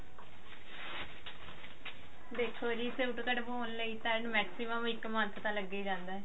ਦੇਖੋ ਜੀ ਸੂਟ ਕਢਵਾਉਣ ਲਈ ਸਾਨੂੰ maximum ਇੱਕ month ਤਾਂ ਲੱਗ ਹੀ ਜਾਂਦਾ